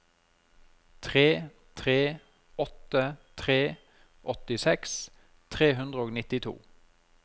tre tre åtte tre åttiseks tre hundre og nittito